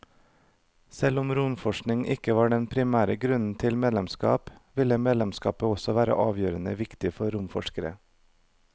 Selv om romforskning ikke var den primære grunnen til medlemskap, ville medlemskapet også være avgjørende viktig for romforskerne.